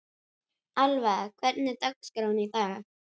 Alva, hvernig er dagskráin í dag?